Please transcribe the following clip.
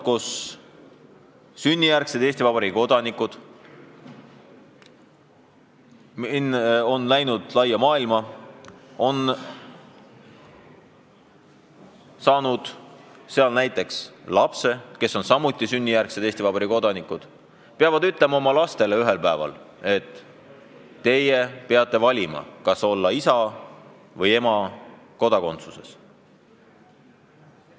Sünnijärgsed Eesti Vabariigi kodanikud on läinud laia maailma, saanud seal lapsed, kes on samuti sünnijärgsed Eesti Vabariigi kodanikud, aga ühel päeval peavad nad oma lastele ütlema, et nad peavad valima, kas olla isa või ema kodumaa kodakondsusega.